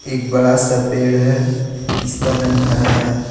एक बड़ा सा पेड़ है जिसका रंग हरा है।